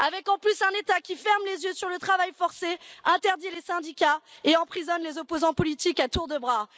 Avec en plus un État qui ferme les yeux sur le travail forcé, interdit les syndicats et emprisonne les opposants politiques à tour de bras.